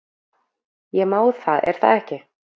Ég má það er það ekki?